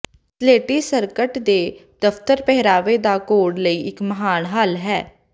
ਸਲੇਟੀ ਸਕਰਟ ਦੇ ਦਫ਼ਤਰ ਪਹਿਰਾਵੇ ਦਾ ਕੋਡ ਲਈ ਇੱਕ ਮਹਾਨ ਹੱਲ ਹੈ